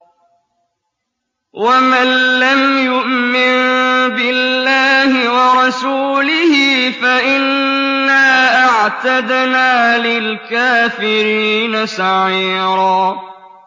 وَمَن لَّمْ يُؤْمِن بِاللَّهِ وَرَسُولِهِ فَإِنَّا أَعْتَدْنَا لِلْكَافِرِينَ سَعِيرًا